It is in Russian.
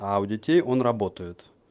а у детей он работает